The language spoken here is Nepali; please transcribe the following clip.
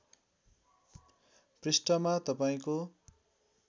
पृष्ठमा तपाईँको